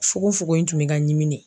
Fogo fogo in tun bɛ ka ɲimi de!